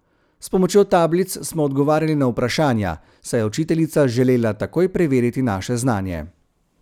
S pomočjo tablic smo odgovarjali na vprašanja, saj je učiteljica želela takoj preveriti naše znanje.